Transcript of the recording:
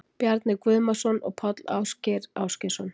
Bjarni Guðmarsson og Páll Ásgeir Ásgeirsson.